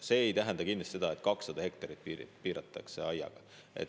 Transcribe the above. See ei tähenda kindlasti seda, et 200 hektarit piiratakse aiaga.